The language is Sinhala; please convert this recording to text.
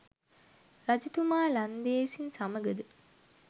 රජතුමා ලන්දේසින් සමඟද